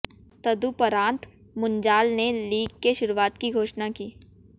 तदुपरांत मुंजाल ने लीग के शुरुआत की घोषणा की